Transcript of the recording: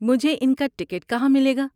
مجھے ان کا ٹکٹ کہاں ملے گا؟